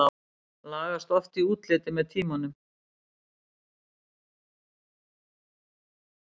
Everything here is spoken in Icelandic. Þau lagast oft í útliti með tímanum.